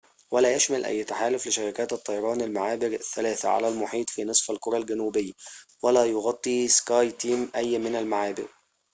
ولا يشمل أي تحالف لشركات الطيران المعابر الثلاثة على المحيط في نصف الكرة الجنوبي ولا يغطي سكاي تيم أي من المعابر